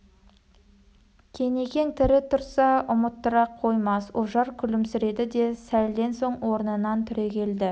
кенекең тірі тұрса ұмыттыра қоймас ожар күлімсіреді де сәлден соң орнынан түрегелді